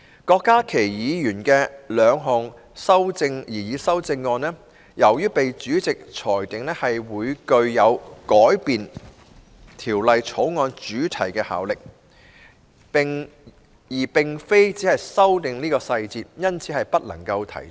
郭家麒議員的兩項擬議修正案，由於被主席裁定會具有改變《條例草案》主題的效力，而並非只是修訂其細節，因此不可提出。